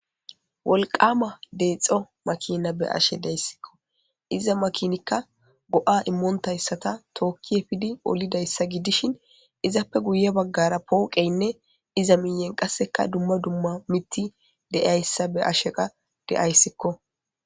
wolqama deexxo makina be'ashe deyssikko iza makinikka go'a immontayssata tookki efidi olidayssa gidishin izaape guye baggara pooqeynne iza miiyen qasseka dumma dumma mitti deayssa be asheqa deayssikko